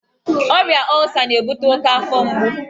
Ọrịa ọlsa na-ebute oke afọ mgbu.